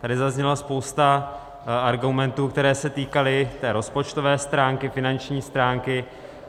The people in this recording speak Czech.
Tady zazněla spousta argumentů, které se týkaly té rozpočtové stránky, finanční stránky.